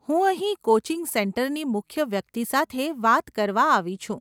હું અહીં કોચિંગ સેન્ટરની મુખ્ય વ્યક્તિ સાથે વાત કરવા આવી છું.